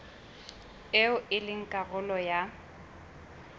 eo e leng karolo ya